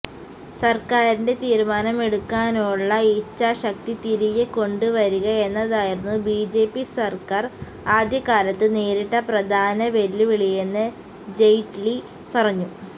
സര്ക്കാരിന്റെ തീരുമാനമെടുക്കാനുള്ള ഇച്ഛാശക്തി തിരികെ കൊണ്ടുവരിക എന്നതായിരുന്നു ബിജെപി സര്ക്കാര് ആദ്യകാലത്ത് നേരിട്ട പ്രധാന വെല്ലുവിളിയെന്ന് ജെയ്റ്റ്ലി പറഞ്ഞു